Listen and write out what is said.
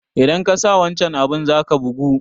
Idan kasa wancan abun zaka bugu